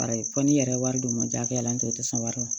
Ayi fɔ n'i yɛrɛ ye wari d'u ma jaaf'a la n tɛ o tɛ sɔn wari ma